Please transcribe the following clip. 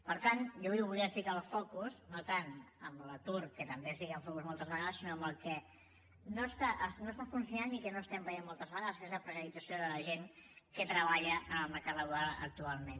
per tant jo avui volia ficar el focus no tant en l’atur que també hi fiquem el focus moltes vegades sinó en el que no està funcionant i que no estem veient moltes vegades que és la precarització de la gent que treballa en el mercat laboral actualment